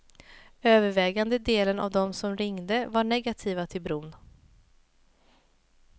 Övervägande delen av dem som ringde var negativa till bron.